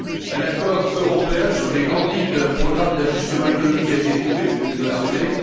Un accord européen sur les grandes lignes d'un programme d'ajustement économique a été trouvé, vous venez de le rappeler